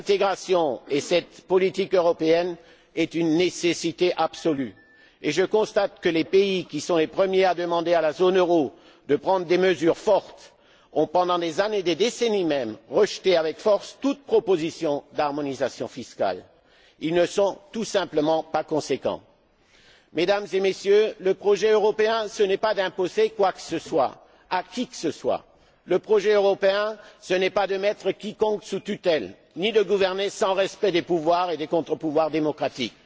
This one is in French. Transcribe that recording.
œuvre. Cette intégration et cette politique européenne sont une nécessité absolue. Je constate que les pays qui sont les premiers à demander à la zone euro de prendre des mesures fortes ont, pendant des années, des décennies même, rejeté vigoureusement toute proposition d'harmonisation fiscale. Ils ne sont tout simplement pas conséquents. Mesdames et Messieurs, le projet européen, ce n'est pas d'imposer quoi que ce soit à qui que ce soit. Le projet européen, ce n'est pas de mettre quiconque sous tutelle ni de gouverner sans respect des pouvoirs et des contrepouvoirs démocratiques.